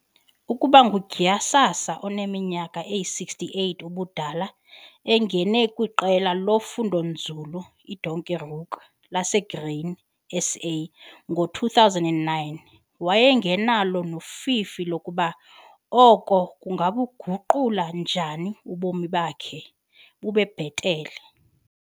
Akuba uGhsasa oneminyaka eyi-68 ubudala engene kwiQela loFundonzulu iDonkerhoek laseGrain SA ngo-2009 wayengenalo nofifi lokuba oko kungabuguqula njani ubomi bakhe bube bhetele.